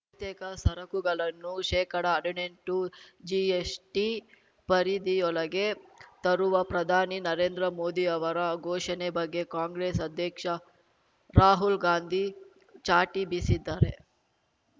ತೇಕ ಸರಕುಗಳನ್ನು ಶೇಕಡಹಡಿನೆಂಟು ಜಿಎಸ್‌ಟಿ ಪರಿಧಿಯೊಳಗೆ ತರುವ ಪ್ರಧಾನಿ ನರೇಂದ್ರ ಮೋದಿ ಅವರ ಘೋಷಣೆ ಬಗ್ಗೆ ಕಾಂಗ್ರೆಸ್‌ ಅಧ್ಯಕ್ಷ ರಾಹುಲ್‌ ಗಾಂಧಿ ಚಾಟಿ ಬೀಸಿದ್ದಾರೆ